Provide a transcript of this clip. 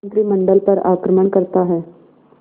मंत्रिमंडल पर आक्रमण करता है